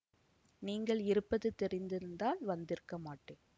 நீங்கள் இருப்பது தெரிந்திருந்தால் வந்திருக்க மாட்டேன்